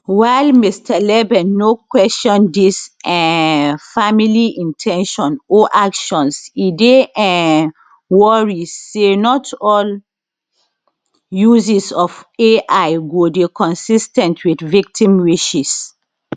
while mr leben no question dis um family in ten tion or actions e dey um worry say not all uses of ai go dey consis ten t wit victim wishes